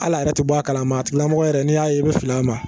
Hali a yɛrɛ tɛ bɔ a kalama a tigilamɔgɔ yɛrɛ n'i y'a ye i bɛ fili a ma